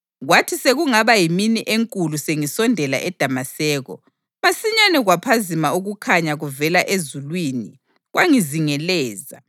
Kwathi sekungaba yimini enkulu sengisondela eDamaseko, masinyane kwaphazima ukukhanya kuvela ezulwini kwangizingelezela.